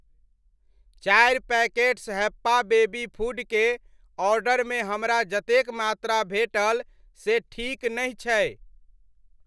चारि packets Happa baby food के ऑर्डरमे हमरा जतेक मात्रा भेटल से ठीक नहि छै।